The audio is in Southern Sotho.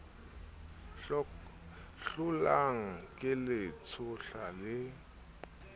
hlolang ke le tshohla le